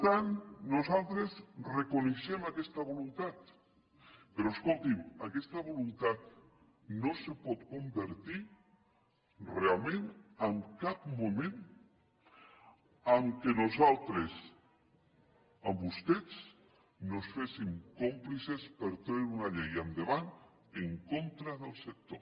per tant nosaltres reconeixem aquesta voluntat però escolti’m aquesta voluntat no es pot convertir realment en cap moment en el fet que nosaltres amb vostès no ens féssim còmplices per treure una llei endavant en contra del sector